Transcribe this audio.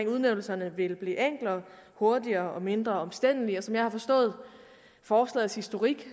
udnævnelserne vil blive enklere hurtigere og mindre omstændelig og som jeg har forstået forslagets historik